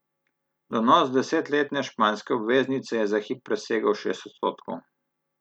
Donos desetletne španske obveznice je za hip presegel šest odstotkov.